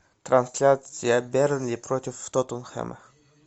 трансляция бернли против тоттенхэма